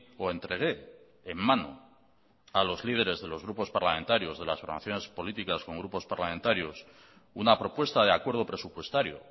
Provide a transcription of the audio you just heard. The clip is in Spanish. o entregué en mano a los líderes de los grupos parlamentarios de las formaciones políticas con grupos parlamentarios una propuesta de acuerdo presupuestario